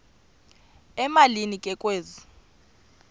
emalini ke kwezi